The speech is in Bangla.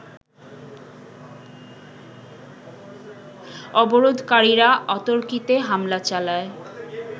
অবরোধকারীরা অতর্কিতে হামলা চালায়